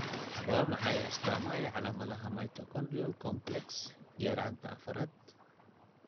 Waa maxay astamaha iyo calamadaha Mitochondrial complex yaraanta afaaarad?